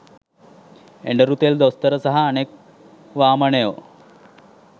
එඬරු තෙල් දොස්තර සහ අනෙක් වාමනයෝ